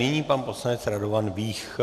Nyní pan poslanec Radovan Vích.